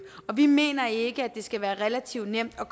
og vi mener ikke at det skal være relativt nemt at